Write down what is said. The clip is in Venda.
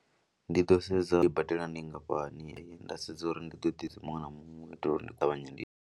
Ndi ḓo sedza tshelede ine nda i badela ndi nngafhani nda sedza uri ndi ḓo ḓisa muṅwe na muṅwe u itela uri ndi ṱavhanye ndi.